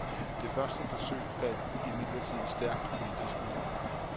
Det første forsøg faldt imidlertid stærkt politisk ud.